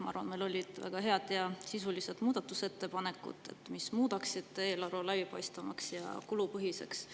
Ma arvan, et meil olid väga head ja sisulised muudatusettepanekud, mis muudaksid eelarve läbipaistvamaks ja kulupõhiseks.